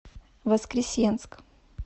воскресенск